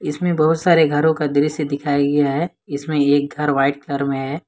इसमें बहुत सारे घरों का दृश्य दिखाया गया है इसमें एक घर व्हाइट कलर में है।